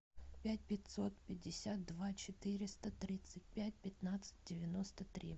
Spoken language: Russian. пять пятьсот пятьдесят два четыреста тридцать пять пятнадцать девяносто три